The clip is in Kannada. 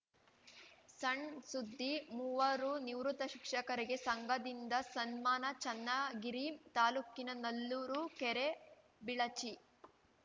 ಸಣ್‌ ಸುದ್ದಿ ಮೂವರು ನಿವೃತ್ತ ಶಿಕ್ಷಕರಿಗೆ ಸಂಘದಿಂದ ಸನ್ಮಾನ ಚನ್ನಗಿರಿ ತಾಲೂಕಿನ ನಲ್ಲೂರು ಕೆರೆಬಿಳಚಿ